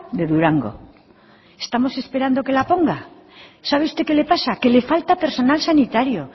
de durango estamos esperando que la ponga sabe usted qué le pasa que le falta personal sanitario